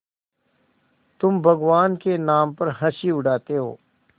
तुम भगवान के नाम पर हँसी उड़ाते हो